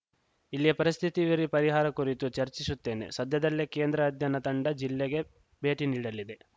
ಇಲ್ಲಿಯ ಪರಿಸ್ಥಿತಿ ವಿವರಿ ಪರಿಹಾರ ಕುರಿತು ಚರ್ಚಿಸುತ್ತೇನೆ ಸದ್ಯದಲ್ಲೇ ಕೇಂದ್ರ ಅಧ್ಯಯನ ತಂಡ ಜಿಲ್ಲೆಗೆ ಭೇಟಿ ನೀಡಲಿದೆ